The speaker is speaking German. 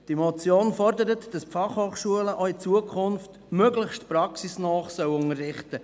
Die Motion fordert, dass die Fachhochschulen auch in Zukunft möglichst praxisnah unterrichten.